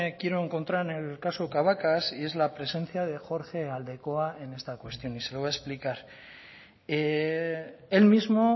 quiero encontrar en el caso cabacas y es la presencia de jorge aldekoa en esta cuestión y se lo voy a explicar él mismo